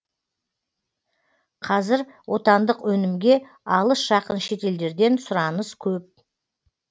қазір отандық өнімге алыс жақын шетелдерден сұраныс көп